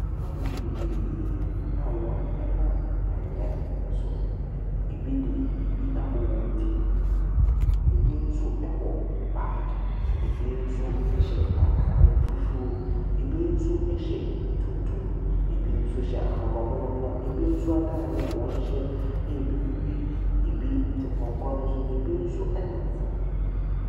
Nnipa bebreebe a wɔnam anwea so. Ɛbi de biribi abɔ wɔn ti. Ɛbi nso bɔ baage. Ɛbi nso hyɛ atade fufuo, ɛbi nso hyɛ tuntum. Ɛbi nso hyɛ ahabammono, na ɛbi nso atadeɛ a wɔhyɛ yɛ bibire. Ɛbi te pɔnkɔ no so na ɛbi nso nam fam.